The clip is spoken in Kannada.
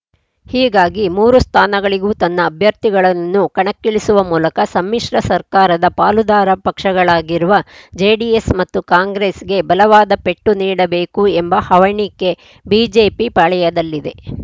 ಹೀಗಾಗಿ ಮೂರು ಸ್ಥಾನಗಳಿಗೂ ತನ್ನ ಅಭ್ಯರ್ಥಿಗಳನ್ನು ಕಣಕ್ಕಿಳಿಸುವ ಮೂಲಕ ಸಮ್ಮಿಶ್ರ ಸರ್ಕಾರದ ಪಾಲುದಾರ ಪಕ್ಷಗಳಾಗಿರುವ ಜೆಡಿಎಸ್‌ ಮತ್ತು ಕಾಂಗ್ರೆಸ್‌ಗೆ ಬಲವಾದ ಪೆಟ್ಟು ನೀಡಬೇಕು ಎಂಬ ಹವಣಿಕೆ ಬಿಜೆಪಿ ಪಾಳೆಯದಲ್ಲಿದೆ